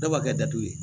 Dɔw b'a kɛ datugu ye